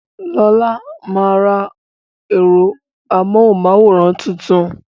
Lola máa ra ẹ̀rọ amóhùn máwòrán tuntun